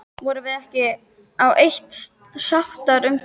Vorum við ekki á eitt sáttar um það?